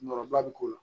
Nɔɔrɔ ba bɛ k'o la